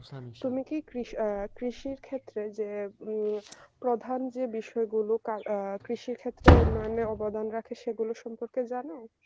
তুমি কি কৃষ আহ কৃষির যে ক্ষেত্রেযে উম প্রধান যে বিষয় গুলো আহ কৃষি ক্ষেত্রে উন্নয়নের মানে অবদান রাখে সেগুলো সম্পর্কে জানো